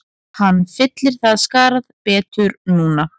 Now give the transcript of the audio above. Hann fyllir það skarð betur núna